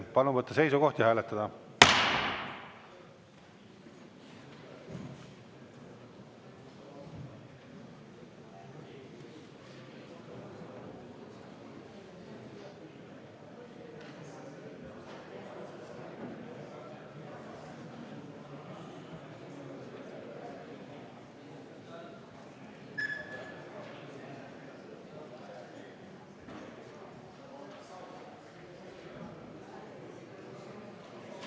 Palun võtta seisukoht ja hääletada!